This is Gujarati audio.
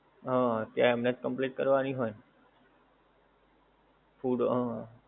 હા ત્યાં એમનેજ complain કરવાની હોય ને. food હં,